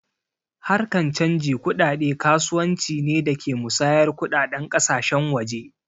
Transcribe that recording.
Harkan canji kuɗaɗe kasuwanci ne da ke musayar kuɗaɗen ƙasashen waje